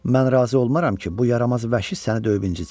Mən razı olmaram ki, bu yaramaz vəhşi səni döyüb incitsin.